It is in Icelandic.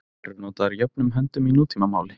Þær eru notaðar jöfnum höndum í nútímamáli.